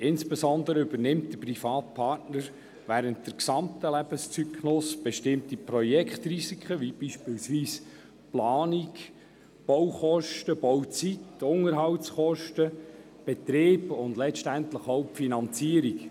Insbesondere übernimmt der private Partner während des gesamten Lebenszyklus bestimmte Projektrisiken wie beispielsweise die Planung, die Baukosten, die Bauzeit, die Unterhaltskosten, den Betrieb und letztendlich auch die Finanzierung.